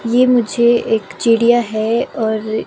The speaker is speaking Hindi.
ये मुझे एक चिड़िया है और--